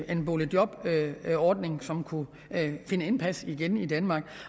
en boligjobordning som kunne vinde indpas igen i danmark